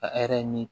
A min